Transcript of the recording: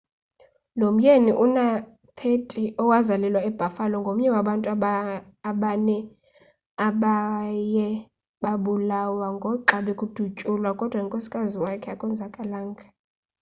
lo myeni una-30 owazalelwa ebuffalo ngomnye wabantu abane abaye babulawo ngoxa bekudutyulwa kodwa unkosikazi wakhe akonzakalanga